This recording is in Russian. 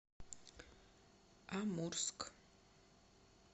амурск